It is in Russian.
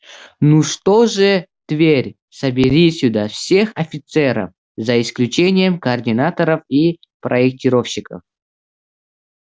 ну что же тверь собери сюда всех офицеров за исключением координаторов и проектировщиков